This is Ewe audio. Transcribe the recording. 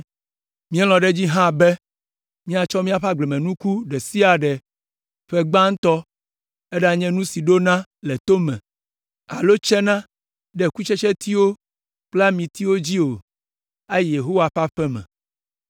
“Míelɔ̃ ɖe edzi hã be míatsɔ míaƒe agblemenuku ɖe sia ɖe ƒe gbãtɔ, eɖanye nu si ɖona le to me alo tsena ɖe kutsetsetiwo kple amitiwo dzi o, ayi Yehowa ƒe aƒe me.